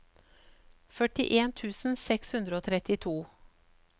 førtien tusen seks hundre og trettito